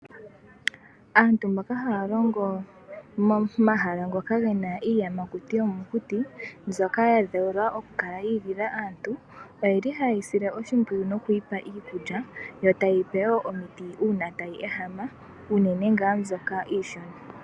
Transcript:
Aantu mboka haa longo momahala gomokuti moka muna iinamwenyo mbyoka yi igilila okukala naantu oyeli ha ye yi sile oshimpyiyu nokuyipa iikulya yo taye yi pe wo omiti uuna tayi ehama unene ngaa mbyoka iishona.